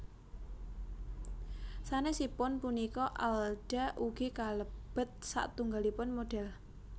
Sanèsipun punika Alda ugi kalebet satunggalipun modhèl